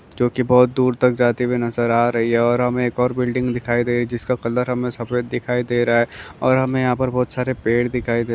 जो की बहुत दूर तक जाती हुई नजर आ रही है और हमे एक और बिल्डिंग दिखाई दे रही जिसका कलर हमे सफ़ेद दिखाई दे रहा है और हमे यहापर बहुतसारे पेड़ दिखाई दे--